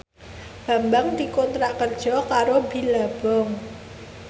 Bambang dikontrak kerja karo Billabong